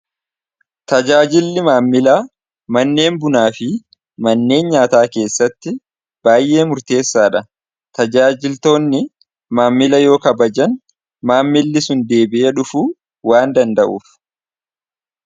Tajaajilli maammila manneen bunaa fi manneen nyaataa keessatti baay'ee murteessaa dha. Tajaajiltoonni maammila yoo kabajan maammilli sun deebi'e dhufu waan danda'uuf.